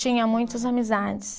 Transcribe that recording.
Tinha muitas amizades.